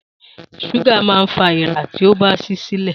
súgà ma fa èèra tí o bá sí i sílẹ̀.